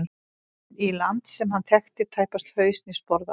Inn í land sem hann þekkti tæpast haus né sporð á.